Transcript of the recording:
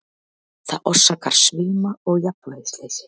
Það orsakar svima og jafnvægisleysi.